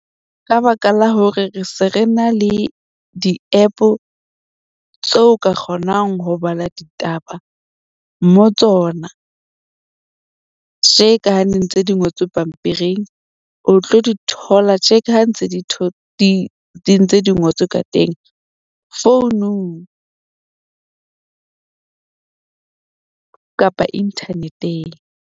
Ka baka la hore re se re na le di-app-o tseo ka kgonang ho bala ditaba mo tsona. Tje ka ha ne ntse di ngotswe pampiring o tlo di thola tje ka ha ntse di ntse di ngotswe ka teng founung kapa internet-eng.